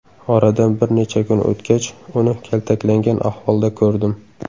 Oradan bir necha kun o‘tgach, uni kaltaklangan ahvolda ko‘rdim.